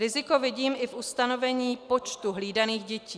Riziko vidím i v ustanovení počtu hlídaných dětí.